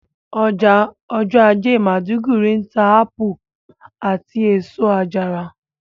Ọjà ọjọ́ ajé maiduguri ń ta ápù àti èso àjàrà